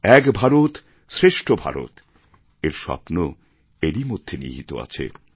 এক ভারত শ্রেষ্ঠ ভারত এর স্বপ্ন এরই মধ্যে নিহিত আছে